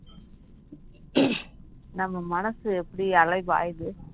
நம்ம மனசு எப்படி அலைப்பாயுது